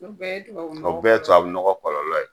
O bɛɛ ye tubabu nɔgɔ kɔlɔlɔ ye? O bɛɛ ye tubabu nɔgɔ kɔlɔlɔ ye.